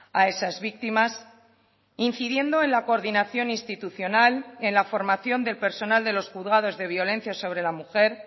a esas víctimas incidiendo en la coordinación institucional en la formación del personal de los juzgados de violencia sobre la mujer